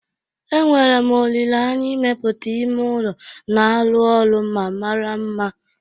Enwere m olile anya imepụta ime ụlọ na-arụ ọrụ ma mara mma.